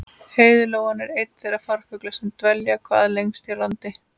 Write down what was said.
Heiðlóan er einn þeirra farfugla sem dvelja hvað lengst hér á landi.